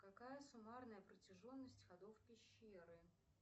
какая суммарная протяженность ходов пещеры